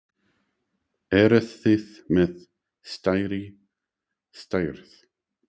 Eruð þið með stærri stærð?